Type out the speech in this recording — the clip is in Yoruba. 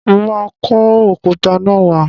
Mo máa kó òkúta náà wá.